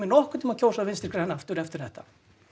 nokkurn tímann kjósa vinstri græn aftur eftir þetta